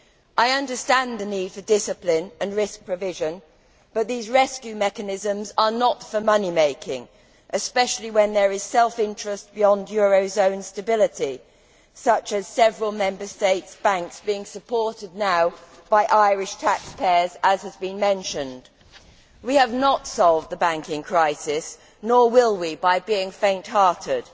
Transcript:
I understand the need for discipline and risk provision, but these rescue mechanisms are not for money making, especially when there is self interest beyond eurozone stability, such as several Member State banks being supported by Irish taxpayers, as has been mentioned. We have not solved the banking crisis, nor will we by being faint hearted.